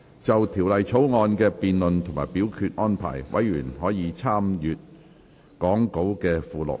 就條例草案的辯論及表決安排，委員可參閱講稿附錄。